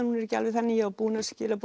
hún er ekki alveg þannig ég var búin að skila